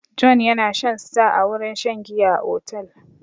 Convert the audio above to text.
Jonh yana shan star a wurin shan giya a otel.